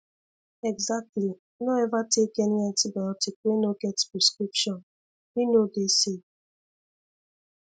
exactly no ever take any antibiotic wey no get prescription e no dey safe